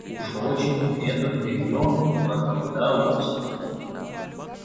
уж очень это зверье проголодалось